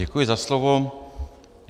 Děkuji za slovo.